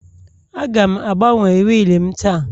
Aga m agbanwe wiil m taa